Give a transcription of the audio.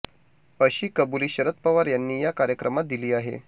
अशी कबुली शरद पवार यांनी या कार्यक्रमात दिली आहे